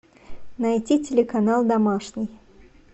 найти телеканал домашний